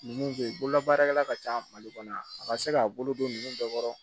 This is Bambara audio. Nunnu be ye bolola baarakɛla ka ca mali kɔnɔ yan a ka se k'a bolo don dɔ kɔrɔ